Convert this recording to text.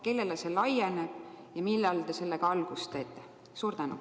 Kellele see laieneb ja millal te sellega algust teete?